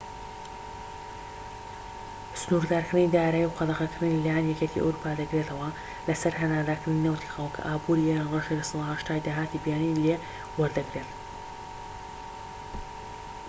سنووردارکردنی دارایی و قەدەغەکردن لە لایەن یەکێتی ئەوروپا دەگرێتەوە لە سەر هەناردەکردنی نەوتی خاو، کە ئابوری ئێران ڕێژەی 80%ی داهاتی بیانی لێ وەدەگرێت